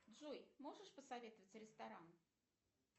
джой можешь посоветовать ресторан